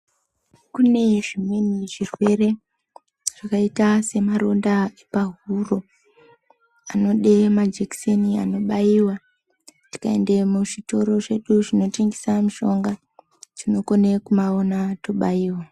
Kune zvimweni zvirwere zvakaita semaronda epahuro. Anode majekiseni anobaiva tikaende muzvitoro zvedu zvinotengesa mushonga tinokone kumaona tobaiva.